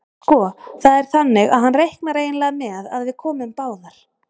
Sko. það er þannig að hann reiknar eiginlega með að við komum báðar.